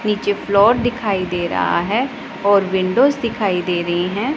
नीचे फ्लोर दिखाई दे रहा है और विंडोज दिखाई दे रही हैं।